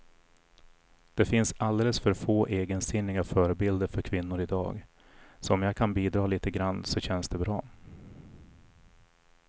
Det finns alldeles för få egensinniga förebilder för kvinnor i dag, så om jag kan bidra lite grann så känns det bra.